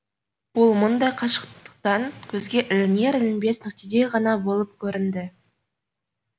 ол мұндай қашықтықтан көзге ілінер ілінбес нүктедей ғана болып көрінді